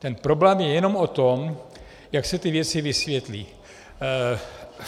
Ten problém je jenom o tom, jak se ty věci vysvětlí.